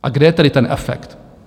A kde je tedy ten efekt?